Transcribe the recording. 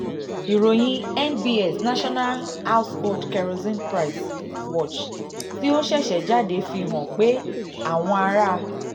ìròyìn nbs national household kerosene price um watch tí ó um ṣẹ̀ṣẹ̀ jáde fi um hàn pé àwọn ará